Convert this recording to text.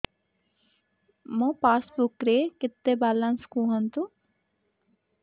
ମୋ ପାସବୁକ୍ ରେ କେତେ ବାଲାନ୍ସ କୁହନ୍ତୁ